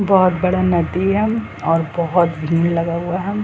बहुत बड़ा नदी है और बहुत भीड़ लगा हुआ है।